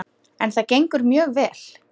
En það gengur mjög vel.